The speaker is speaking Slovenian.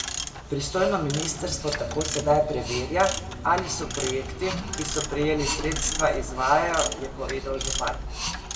Pristojno ministrstvo tako sedaj preverja, ali se projekti, ki so prejeli sredstva, izvajajo, je povedal župan.